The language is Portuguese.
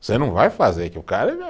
Você não vai fazer que o